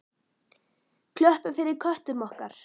Klöppum fyrir köttum okkar!